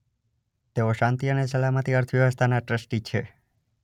તેઓ શાંતિ અને સલામતી અર્થવ્યવસ્થાના ટ્રસ્ટી છે.